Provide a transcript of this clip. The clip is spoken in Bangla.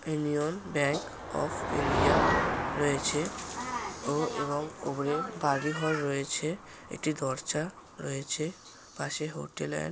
ইউনিয়ন ব্যাংক অফ ইন্ডিয়া রয়েছে ও এবং উপরে বাড়ি ঘর রয়েছে। একটি দরজা রয়েছে পাশে হোটেল এন্ড ।